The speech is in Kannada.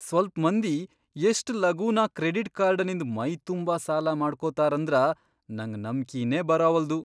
ಸ್ವಲ್ಪ್ ಮಂದಿ ಎಷ್ಟ್ ಲಗೂನ ಕ್ರೆಡಿಟ್ ಕಾರ್ಡನಿಂದ್ ಮೈತುಂಬಾ ಸಾಲಮಾಡ್ಕೊತಾರಂದ್ರ ನಂಗ್ ನಂಬ್ಕಿನೇ ಬರಾವಲ್ದು.